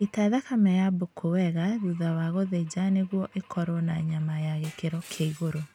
Ita thakame ya mbũku wega thutha wa gũthĩnja nĩguo ĩkorwo na nyama ya gĩkĩro kĩa igũrũ